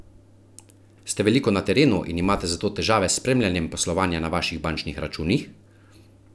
Ste veliko na terenu in imate zato težave s spremljanjem poslovanja na vaših bančnih računih?